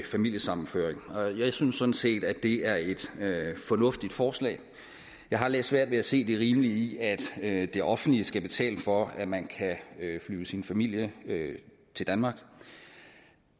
familiesammenføring jeg synes sådan set at det er et fornuftigt forslag jeg har lidt svært ved at se det rimelige i at at det offentlige skal betale for at man kan flyve sin familie til danmark